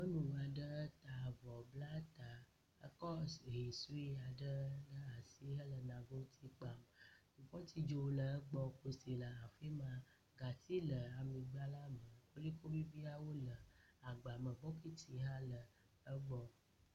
Nyɔnu aɖe ta avɔ bla ta ekɔ hɛ sue aɖe ɖe asi hele nagoti kpam. Kupɔti dzo le egbɔ kose le afi ma kasile aŋegba la me. …